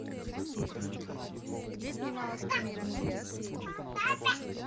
где снималась кэмерон диаз